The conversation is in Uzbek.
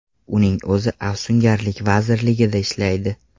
Uning o‘zi afsungarlik vazirligida ishlaydi.